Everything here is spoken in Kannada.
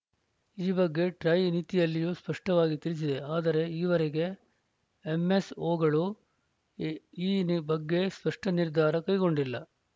ಈ ಬಗ್ಗೆ ಟ್ರಾಯ್‌ ನೀತಿಯಲ್ಲಿಯೂ ಸ್ಪಷ್ಟವಾಗಿ ತಿಳಿಸಿದೆ ಆದರೆ ಈವರೆಗೆ ಎಂಎಸ್‌ಓಗಳು ಈ ಬಗ್ಗೆ ಸ್ಪಷ್ಟನಿರ್ಧಾರ ಕೈಗೊಂಡಿಲ್ಲ